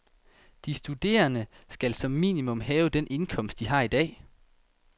De studerende skal som minimum have den indkomst, de har i dag.